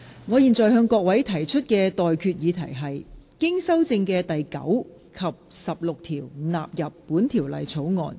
我現在向各位提出的待決議題是：經修正的第9及16條納入本條例草案。